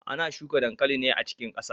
Ana shuka dankali ne a cikin kasa.